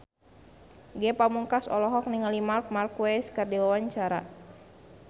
Ge Pamungkas olohok ningali Marc Marquez keur diwawancara